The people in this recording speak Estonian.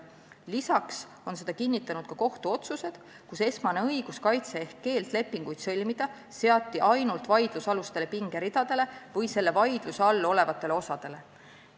Seda on kinnitanud ka kohtuotsused, kus esmane õiguskaitse ehk keeld lepinguid sõlmida seati ainult vaidlusalustele pingeridadele või nende vaidluse all olevatele osadele.